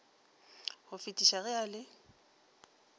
go fetisa ge a le